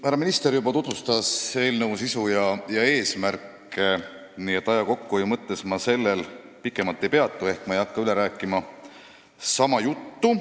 Härra minister juba tutvustas eelnõu sisu ja eesmärki, nii et aja kokkuhoiu mõttes ma sellel pikemalt ei peatu ehk ma ei hakka sama juttu veel kord rääkima.